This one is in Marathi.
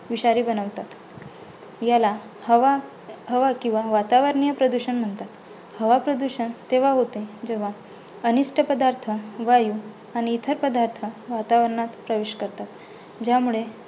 विषारी बनवतात. ह्याला हवा हवा किंवा वातावरणीय प्रदूषण म्हणतात. हवा प्रदूषण तेव्हा होतं, जेव्हा अनिष्ट पदार्थ वायू आणि इतर पदार्थ वातावरणात प्रवेश करतात. ज्यामुळे